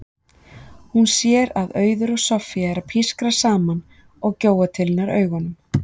Hún sér að Auður og Soffía eru að pískra saman og gjóa til hennar augunum.